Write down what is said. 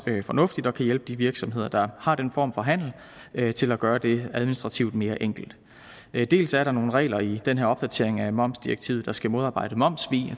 fornuftigt at kunne hjælpe de virksomheder der har den form for handel til at gøre det administrativt mere enkelt dels er der nogle regler i den her opdatering af momsdirektivet der skal modarbejde momssvig